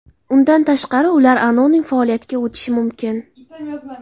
Undan tashqari, ular anonim faoliyatga o‘tishi mumkin.